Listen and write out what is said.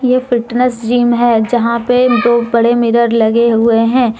ये fitness gym है जहां पे दो बड़े मिरर लगे हुए हैं।